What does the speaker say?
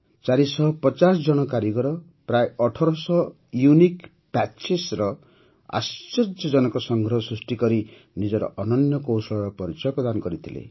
୪୫୦ ଜଣ କାରିଗର ପ୍ରାୟଃ ୧୮୦୦ ୟୁନିକ୍ ପ୍ୟାଚେସ୍ର ଆଶ୍ଚର୍ଯ୍ୟଜନକ ସଂଗ୍ରହ ସୃଷ୍ଟି କରି ନିଜର ଅନନ୍ୟ କୌଶଳର ପରିଚୟ ପ୍ରଦାନ କରିଥିଲେ